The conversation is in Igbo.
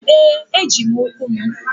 Ee! Eji m ụkwụ m.